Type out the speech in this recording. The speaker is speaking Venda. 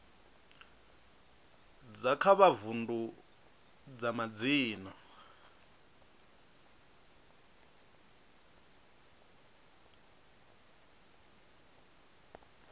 dza kha vundu dza madzina